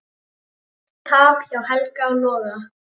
Tap hjá Helga og Loga